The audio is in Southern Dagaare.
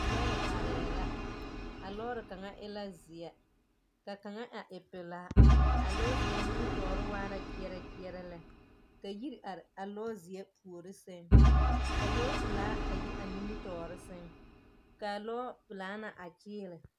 Lɔɛ arɛɛ la. A lɔɔre kaŋa e la zeɛ, ka kaŋa e pelaa. A lɔɔzeɛ nimitɔɔre waa la kyeɛrɛ kyeɛrɛ lɛ. Ka yiri are a lɔɔzeɛ puori seŋ ka lɔɔpelaa a yi a nimitɔɔre seŋ, kaa lɔɔpelaa na a kyeele.